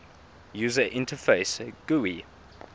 user interface gui